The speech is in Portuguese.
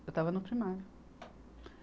Eu estava no primário.